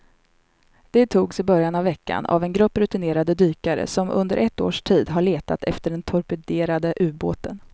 De togs i början av veckan av en grupp rutinerade dykare som under ett års tid har letat efter den torpederade ubåten.